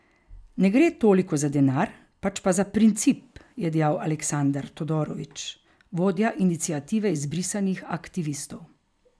Ne gre toliko za denar, pač pa za princip, je dejal Aleksandar Todorović, vodja iniciative izbrisanih aktivistov.